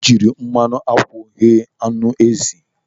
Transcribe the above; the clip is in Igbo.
Anyị jiri mmanụ akwụ ghee anụ ezi.